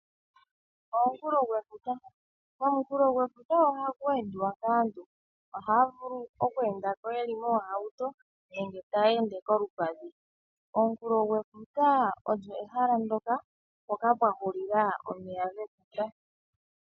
Omunkulo gwefuta ohaku endwa kaantu. Ohaya vulu oku enda ko yeli moohauto nenge kolupadhi. Omunkulo gwefuta ehala mpoka pwa hulila omeya gefuta.